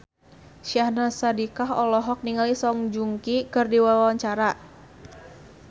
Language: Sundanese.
Syahnaz Sadiqah olohok ningali Song Joong Ki keur diwawancara